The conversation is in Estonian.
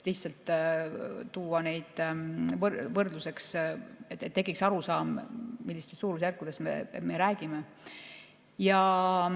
Lihtsalt tõin võrdluseks, et tekiks arusaam, millistest suurusjärkudest me räägime.